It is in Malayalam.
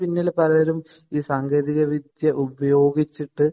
പിന്നില് പലരും ഈ സാങ്കേതിക വിദ്യ ഉപയോഗിച്ചിട്ട്